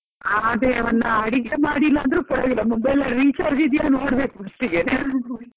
ಅದೇ ಒಂದು ಅಡಿಗೆ ಮಾಡ್ಲಿಲ್ಲಾ ಅಂದ್ರು ಪರವಾಗಿಲ್ಲ mobile ಅಲ್ಲಿ recharge ಇದೆಯಾ ನೋಡ್ಬೇಕು first ಗೆ .